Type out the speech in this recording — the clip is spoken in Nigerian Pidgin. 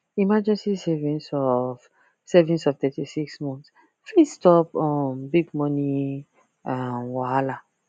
emergency savings of savings of thity six months fit stop um big money um wahala